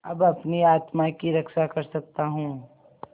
अब अपनी आत्मा की रक्षा कर सकता हूँ